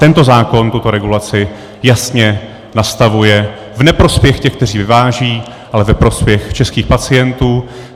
Tento zákon tuto regulaci jasně nastavuje v neprospěch těch, kteří vyvážejí, ale ve prospěch českých pacientů.